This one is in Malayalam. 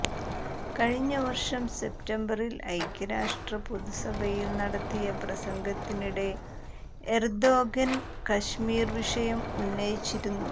കഴിഞ്ഞ വർഷം സെപ്റ്റംബറിൽ ഐക്യരാഷ്ട്ര പൊതുസഭയിൽ നടത്തിയ പ്രസംഗത്തിനിടെ എർദോഗൻ കശ്മീർ വിഷയം ഉന്നയിച്ചിരുന്നു